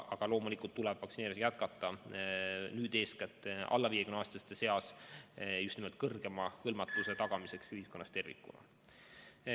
Aga loomulikult tuleb vaktsineerimist jätkata nüüd eeskätt alla 50-aastaste seas just nimelt kõrgema hõlmatuse tagamiseks ühiskonnas tervikuna.